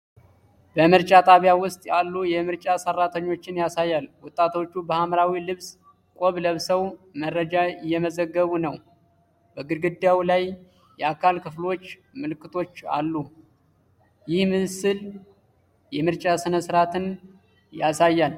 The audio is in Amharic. በምርጫ ጣቢያ ውስጥ ያሉ የምርጫ ሠራተኞችን ያሳያል። ወጣቶቹ በሐምራዊ ልብስ ቆብ ለብሰው መረጃ እየመዘገቡ ነው። በግድግዳው ላይ የአካል ክፍሎች ምልክቶች አሉ። ይህ ሥዕል የምርጫ ሥነ ሥርዓትን ያሳያል?